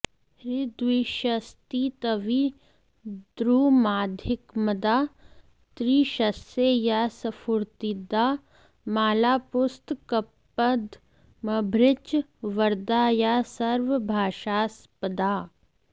हृद्वक्षस्थितविद्रुमाधिकमदा त्रीशस्य या स्फूर्तिदा मालापुस्तकपद्मभृच्च वरदा या सर्वभाषास्पदा